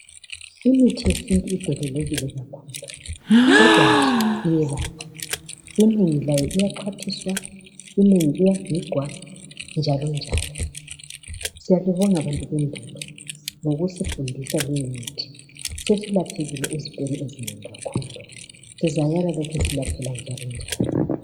Imithi yesintu idelelekile kakhulu kodwa nje iyelapha. Inengi layo liyaxhwathiswa, inengi liyagigwa njalonjalo. Siyalibonga bantu bendulo, ngokusifundisa limithi. Sesilaphekile ezifeni ezinengi kakhulu. Sizayala silapheka njalonjalo.